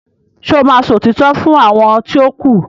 ṣe o má sọ òtítọ́ fún àwọn ti o ku?